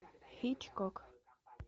хичкок